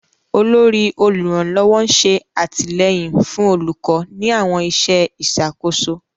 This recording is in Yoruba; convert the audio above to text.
Olórí oluranlọwọ n ṣe atilẹyin fun olukọ ni awọn iṣẹ iṣakoso.